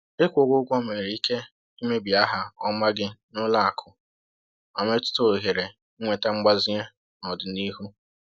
Ịkwụghị ụgwọ nwere ike imebi aha ọma gị n’ụlọ akụ ma metụta ohere ịnweta mgbazinye n’ọdịnihu.